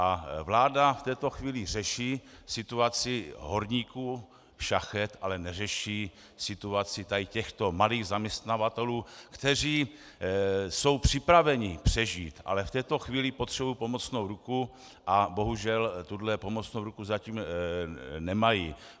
A vláda v této chvíli řeší situaci horníků, šachet, ale neřeší situaci tady těchto malých zaměstnavatelů, kteří jsou připraveni přežít, ale v této chvíli potřebují pomocnou ruku a bohužel tuhle pomocnou ruku zatím nemají.